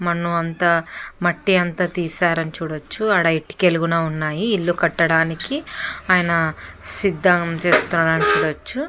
మన్నుఅంతా మట్టి అంతా తీశారు అని చూడచ్చు. ఆడ ఇటికలు కూడా ఉన్నాయి. ఇల్లు కట్టడానికి ఆయన సిద్దం చేస్తూ ఉండడం చూడొచ్చు.